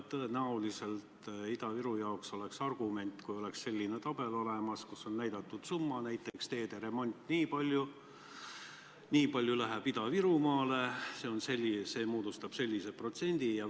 Tõenäoliselt oleks see Ida-Virumaa jaoks argument, kui oleks olemas selline tabel, milles on näidatud summad, et näiteks teede remondi jaoks on raha nii palju, sellest nii palju läheb Ida-Virumaale ja see moodustab sellise protsendi.